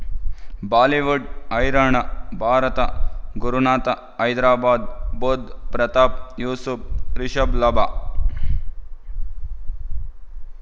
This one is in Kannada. ಬಾಲಿವುಡ್ ಹೈರಾಣ ಭಾರತ ಗುರುನಾಥ ಹೈದರಾಬಾದ್ ಬುಧ್ ಪ್ರತಾಪ್ ಯೂಸುಫ್ ರಿಷಬ್ ಲಾಭ